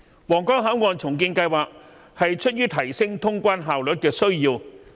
皇崗口岸重建計劃是出於提升通關效率的需要。